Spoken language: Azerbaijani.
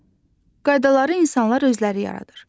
Qaydaları insanlar özləri yaradır.